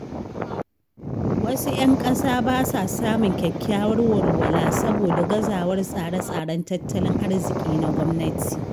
Wasu ‘yan ƙasa ba sa samun kyakkyawar walwala saboda gazawar tsare-tsaren tattalin arziƙi na gwamnati.